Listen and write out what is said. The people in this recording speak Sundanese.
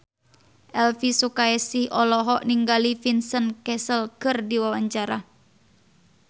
Elvi Sukaesih olohok ningali Vincent Cassel keur diwawancara